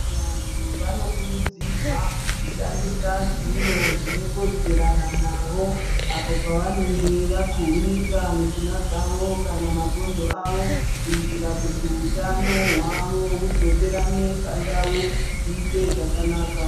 Vantu vano kurudzirwa kushandisa zviro zvine kodzerana navo apo pavanenge va kuhunika mishuna dzavo kana mabhonzo avo kuitira kuti hutano hwavo hudzokerana pandau zviite zvakanaka.